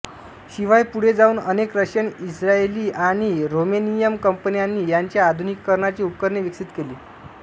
शिवाय पुढे जाऊन अनेक रशियन इस्रायेली आणि रोमेनियन कंपन्यांनी याच्या आधुनिकीकरणाची उपकरणे विकसित केली